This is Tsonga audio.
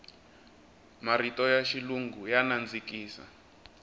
marito ya xilungu ya nandzikisa